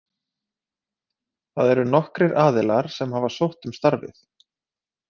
Það eru nokkrir aðilar sem hafa sótt um starfið.